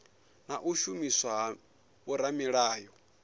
nga u shumiswa ha vhoramilayo